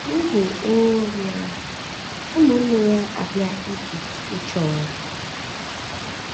N’ihi ụnwụ nri ahụ, ụmụnne ya abịa Ijipt ịchọ nri.